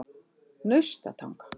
Naustatanga